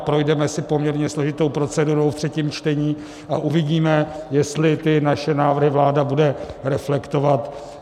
A projdeme si poměrně složitou procedurou v třetím čtení a uvidíme, jestli ty naše návrhy vláda bude reflektovat.